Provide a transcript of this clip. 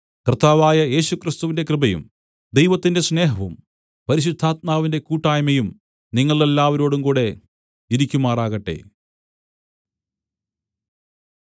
കർത്താവായ യേശുക്രിസ്തുവിന്റെ കൃപയും ദൈവത്തിന്റെ സ്നേഹവും പരിശുദ്ധാത്മാവിന്റെ കൂട്ടായ്മയും നിങ്ങളെല്ലാവരോടുംകൂടെ ഇരിക്കുമാറാകട്ടെ